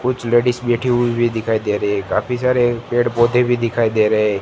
कुछ लेडिस बैठी हुई भी दिखाई दे रही है काफी सारे पेड़ पौधे भी दिखाई दे रहे--